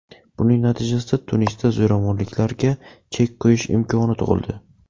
Buning natijasida Tunisda zo‘ravonliklarga chek qo‘yish imkoni tug‘ildi”.